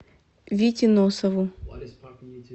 вите носову